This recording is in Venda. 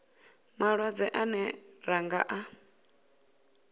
malwadze ane ra nga a